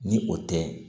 Ni o tɛ